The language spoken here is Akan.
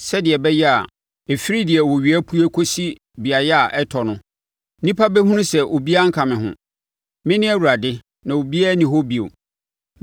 sɛdeɛ ɛbɛyɛ a ɛfiri deɛ owia pue kɔsi beaeɛ a ɛtɔ no nnipa bɛhunu sɛ obiara nka me ho. Mene Awurade, na obiara nni hɔ bio.